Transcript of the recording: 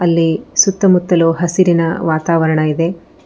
ಇಲ್ಲಿ ಸುತ್ತಮುತ್ತಲೂ ಹಸಿರಿನ ವಾತವರಣ ಇದೆ.